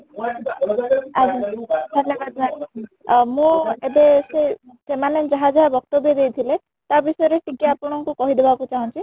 ଆଜ୍ଞା, ଭଲ କଥା ଆ ମୁଁ ଏବେ ସେ ସେମାନେ ଯାହା ଯାହା ବକ୍ତବ୍ୟ ଦେଇ ଥିଲେ ତା ବିଷୟରେ ଟିକେ ଆପଣଙ୍କୁ କହି ଦେବାକୁ ଚାହୁଁଛି